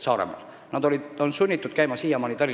Nad on siiamaani olnud sunnitud Tallinnas tööl käima.